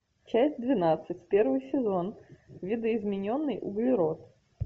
часть двенадцать первый сезон видоизмененный углерод